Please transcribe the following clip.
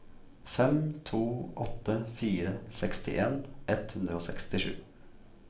fem to åtte fire sekstien ett hundre og sekstisju